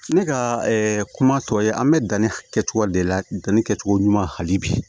Ne ka kuma tɔ ye an bɛ danni kɛcogo de la danni kɛcogo ɲuman hali bi